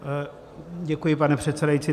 Děkuji, pane předsedající.